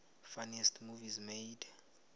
funniest movies made